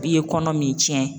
I ye kɔnɔ min cɛn.